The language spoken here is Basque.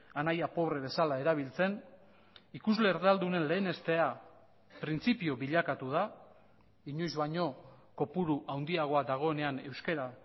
anaia pobre bezala erabiltzen ikusle erdaldunen lehenestea printzipio bilakatu da inoiz baino kopuru handiagoa dagoenean euskara